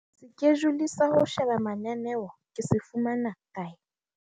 Sekejule sa ho sheba mananeo ke se fumana kae?